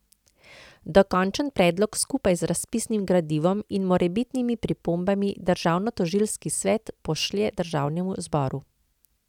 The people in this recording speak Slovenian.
Dokončen predlog skupaj z razpisnim gradivom in morebitnimi pripombami državnotožilski svet pošlje državnemu zboru.